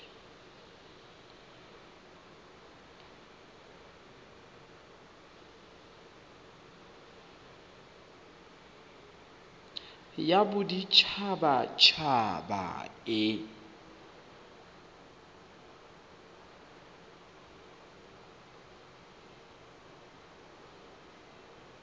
ya bodit habat haba e